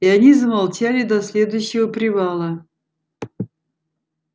и они замолчали до следующего привала